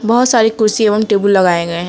बहुत सारी कुर्सी एवं टेबुल लगाए गए हैं।